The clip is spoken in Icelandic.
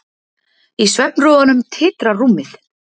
Í svefnrofunum titrar rúmið.